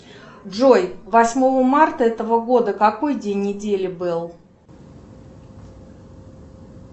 джой восьмого марта этого года какой день недели был